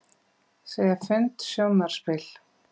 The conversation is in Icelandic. Segja fund sjónarspil